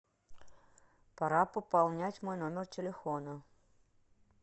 пора пополнять мой номер телефона